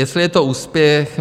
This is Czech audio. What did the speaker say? Jestli je to úspěch?